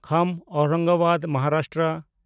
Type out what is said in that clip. Kham Aurangabad Maharashtra